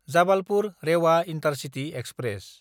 जाबालपुर–रेवा intercity express